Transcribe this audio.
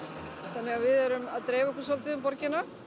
þannig að við erum að dreifa okkur svolítið um borgina